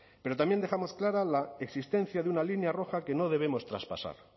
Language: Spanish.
pero también dejamos clara la existencia de una línea roja que no debemos traspasar